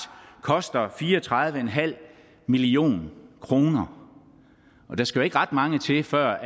koster fire og tredive million kr og der skal jo ikke ret mange til før